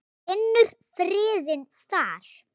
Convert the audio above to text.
Finnur friðinn þar.